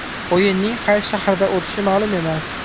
O‘yinning qaysi shaharda o‘tishi ma’lum emas.